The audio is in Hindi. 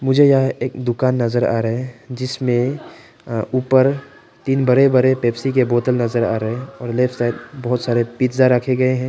मुझे यह एक दुकान नजर आ रहे हैं जिसमें ऊपर तीन बड़े बड़े पेप्सी के बोतल नजर आ रहे हैं और लेफ्ट साइड बहुत सारे पिज़्ज़ा रखे गए हैं।